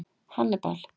Hannibal